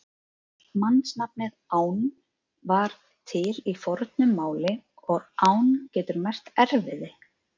Mannsnafnið Ánn var til í fornu máli og ánn getur merkt erfiði.